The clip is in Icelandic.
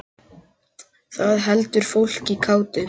Það heldur fólki kátu.